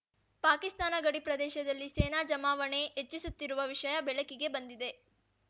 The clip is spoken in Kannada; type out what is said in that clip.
ಪಾಕಿಸ್ತಾನ ಗಡಿ ಪ್ರದೇಶದಲ್ಲಿ ಸೇನಾ ಜಮಾವಣೆ ಹೆಚ್ಚಿಸುತ್ತಿರುವ ವಿಷಯ ಬೆಳಕಿಗೆ ಬಂದಿದೆ